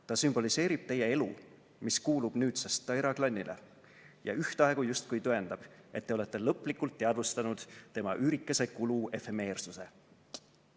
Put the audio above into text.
Ta sümboliseerib teie elu, mis kuulub nüüdsest Taira klannile, ja ühtaegu justkui tõendab, et te olete lõplikult teadvustanud tema üürikese kulu efemeersuse..."